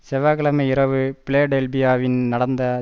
செவ்வாய் கிழமை இரவு பிலடெல்பியாவில் நடந்த